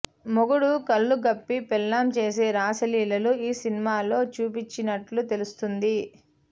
మొగుడు కళ్లుగప్పి పెళ్లాం చేసే రాసలీలలు ఈ సినిమాలో చూపించినట్టు తెలుస్తుంది